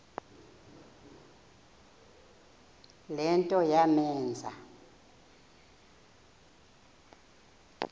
le nto yamenza